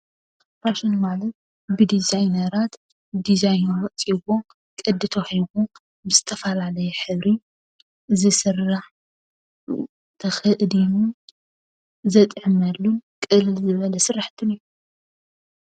ፋሽን ማለት ብዲዛይነራት ዲዛይኑ ወፂዎ ቅዲ ተዋሂብዎ ብዝተፈላለየ ሕብሪ ዝስራሕ ተኸዲኑ ዘጠዕመሉ ቅልል ዝበለ ስራሕቲ እዩ።